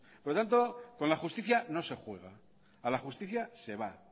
por tanto con la justicia no se juega a la justicia se va